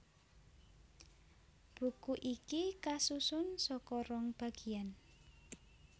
Buku iki kasusun saka rong bagiyan